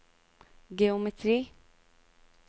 geometri